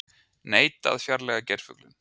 Neita að fjarlægja geirfuglinn